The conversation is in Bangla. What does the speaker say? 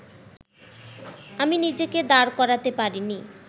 আমি নিজেকে দাঁড় করাতে পারিনি